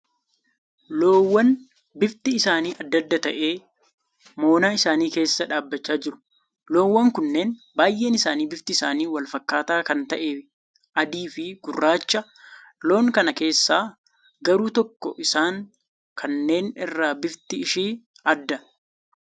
Loowwan bifti isaanii adda addaa ta'e moonaa isaanii keessa dhaabbachaa jiru. Loowwan kunneen baay'een isaanii bifti isaanii wal fakkaataa kan ta'e adii fi gurraacha. Loon kana keessaa garuu tokko isaan kanneen irraa bifti ishee adda.